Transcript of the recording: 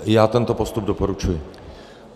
Já tento postup doporučuji.